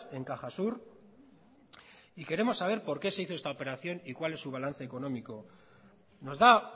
en cajasur y queremos saber por qué se hizo esta operación y cuál es su balance económico nos da